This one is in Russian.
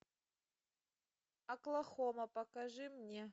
оклахома покажи мне